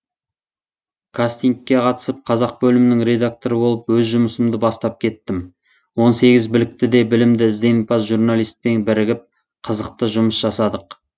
кастингке қатысып қазақ бөлімінің редакторы болып өз жұмысымды бастап кеттім он сегіз білікті де білімді ізденімпаз журналистпен бірігіп қызықты жұмыс жасадық